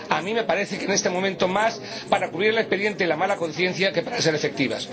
A mí me parece que, en este momento, más para cubrir el expediente y la mala conciencia que para ser efectivas.